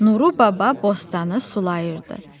Nuru baba bostanı sulayırdı.